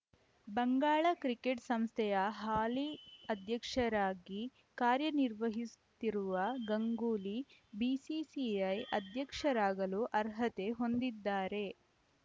Bangala cricket ಸಂಸ್ಥೆಯ ಹಾಲಿ ಅಧ್ಯಕ್ಷರಾಗಿ ಕಾರ್ಯನಿರ್ವಹಿಸುತ್ತಿರುವ ಗಂಗೂಲಿ ಬಿಸಿಸಿಐ ಅಧ್ಯಕ್ಷರಾಗಲು ಅರ್ಹತೆ ಹೊಂದಿದ್ದಾರೆ